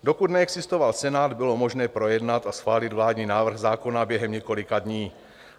Dokud neexistoval Senát, bylo možné projednat a schválit vládní návrh zákona během několika dní.